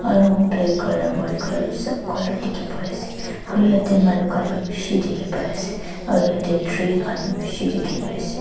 ground black colour sob colour teki pai ase aro yati manu kanne beshi teki pai ase aro yati tree kan beshi teki pai ase.